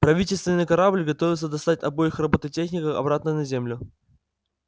правительственный корабль готовился достать обоих роботехников обратно на землю